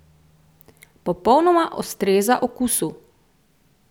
Popolnoma ustreza okusu!